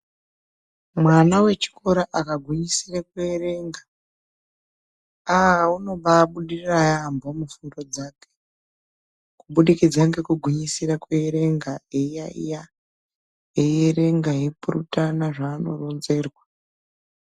Mwana wechikora akagwinyisira kuerenga. Aaaa!!!,unombaibudirira yambo mubvunzo dzake kubudikidza ngekugwinyisira kuerenga, eyiyayiya ,eyierenga eyi purutana zvaanoronzerwa.